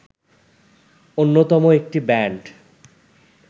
অন্যতম একটি ব্যান্ড